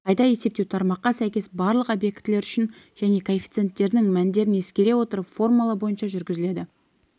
қайта есептеу тармаққа сәйкес барлық объектілер үшін және коэффициенттерінің мәндерін ескере отырып формула бойынша жүргізіледі